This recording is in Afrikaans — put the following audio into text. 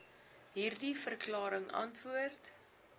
hierdie verklaring antwoord